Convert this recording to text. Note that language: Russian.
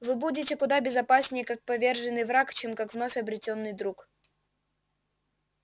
вы будете куда безопаснее как поверженный враг чем как вновь обретённый друг